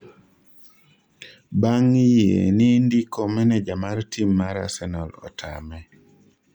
bang' yie ni ndiko maneja mar tim mar Arsenal otame